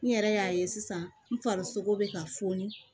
N yɛrɛ y'a ye sisan n farisoko bɛ ka foni